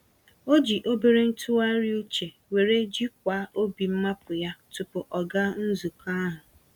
O ji obere ntụgharị uche were jikwaa obi mmapụ yá, tupu ọ gaa nzukọ ahụ.